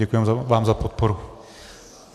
Děkuji vám za podporu.